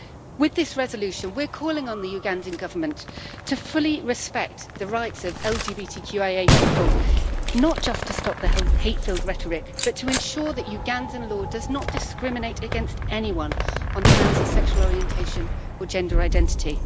With this resolution we are calling on the Ugandan Government to fully respect the rights of LGBTQIA people, not just to stop the whole hate filled rhetoric but to ensure that Ugandan law does not discriminate against anyone on the grounds of sexual orientation or gender identity.